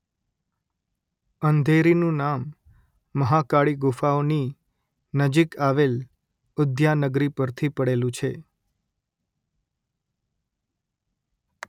અંધેરીનું નામ મહાકાળી ગુફાઓની નજીક આવેલ ઉદ્યાનગરી પરથી પડેલું છે